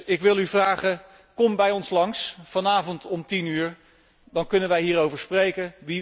Ik wil u dus vragen, kom bij ons langs, vanavond om 22 uur, dan kunnen wij hierover spreken.